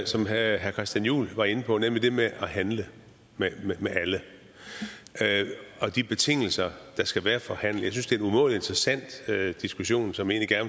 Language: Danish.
som herre christian juhl var inde på nemlig det med at handle med alle og de betingelser der skal være for handel jeg synes det er en umådelig interessant diskussion som jeg